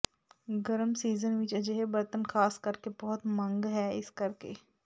ਗਰਮ ਸੀਜ਼ਨ ਵਿਚ ਅਜਿਹੇ ਬਰਤਨ ਖਾਸ ਕਰਕੇ ਬਹੁਤ ਮੰਗ ਹੈ ਇਸ ਕਰਕੇ